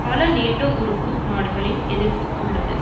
பல நேட்டோ உறுப்பு நாடுகளின் எதிர்ப்பு உள்ளது